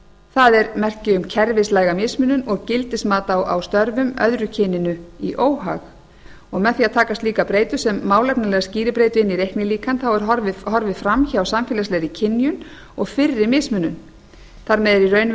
það er merki um kerfislæga mismunun og gildismat á störfum öðru kyninu í óhag með því að taka slíka breytu sem málefnalega skýribreytu inn í reiknilíkan er horfið fram hjá samfélagslegri kynjun og fyrri mismunun þar með er